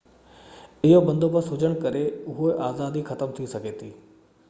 اهو بندوبست هجڻ ڪري اهو آزادي ختم ٿي سگهي ٿي